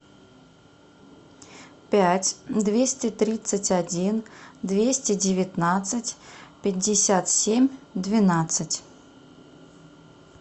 пять двести тридцать один двести девятнадцать пятьдесят семь двенадцать